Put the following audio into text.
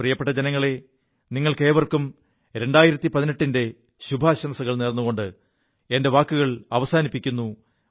പ്രിയപ്പെ ജനങ്ങളേ നിങ്ങൾക്കേവർക്കും 2018 ന്റെ ശുഭാശംസകൾ നേർുകൊണ്ട് എന്റെ വാക്കുകൾ അവസാനിപ്പിക്കുു